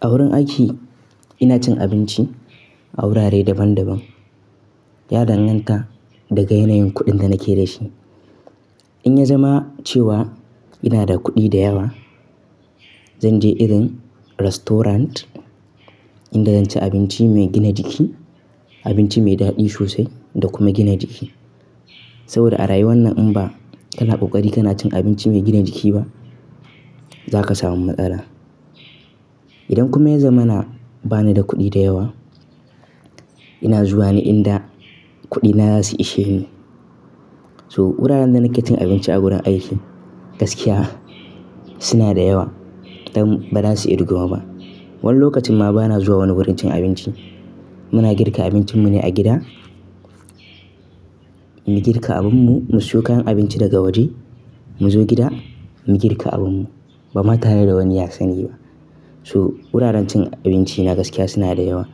A wurin aiki ina cin abinci a wurare daban-daban, ya danganta daga yanayin kuɗin da nake da shi. In ya zama cewa ina da kuɗi da yawa, zan je irin restaurant inda zan ci abinci mai gina jiki, abinci mai daɗi sosai da kuma gina jiki. Saboda a rayuwar nan in ba kana ƙoƙari kana cin abinci mai gina jiki ba, za ka samu matsala. Idan kuma ya zamana bani da kuɗi da yawa, ina zuwa ne inda kuɗina za su ishe ni. So wuraren da nake cin abinci a wurin aiki gaskiya suna da yawa, dan bazasu irguwa ba. Wani lokacin ma ba na zuwa wani wurin cin abinci. Muna girka abincin mune a gida, mu girka abinmu, mu siyo kayan abinci daga waje, mu zo gida mu girka abinmu. Bama tare da wani ya sani ba. So wuraren cin abinci na gaskiya suna da yawa,